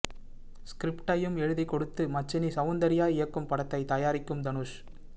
ஸ்கிரிப்ட்டையும் எழுதிக் கொடுத்து மச்சினி சவுந்தர்யா இயக்கும் படத்தை தயாரிக்கும் தனுஷ்